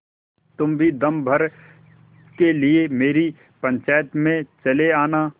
तुम भी दम भर के लिए मेरी पंचायत में चले आना